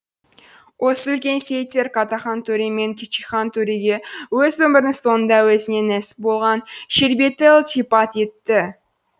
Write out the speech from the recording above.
осы үлкен сеидтер каттахан төре мен кичикхан төреге өз өмірінің соңында өзіне нәсіп болған шербетті ілтипат етті